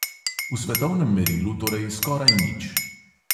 V svetovnem merilu torej skoraj nič.